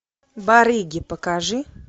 барыги покажи